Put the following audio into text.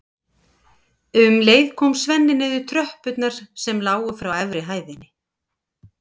Um leið kom Svenni niður tröppurnar sem lágu frá efri hæðinni.